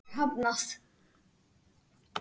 Mér var hafnað.